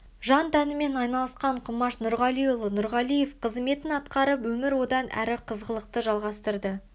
жан тәнімен айналысқан құмаш нұрғалиұлы нұрғалиев қызметін атқарып өмір одан әрі қызғылықты жалғастырды